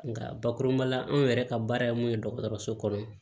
Nka bakuruba la anw yɛrɛ ka baara ye mun ye dɔgɔtɔrɔso kɔrɔ yen